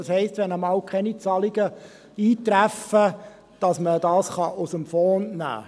Das heisst: Wenn einmal keine Zahlungen eintreffen, kann man das aus dem Fonds nehmen.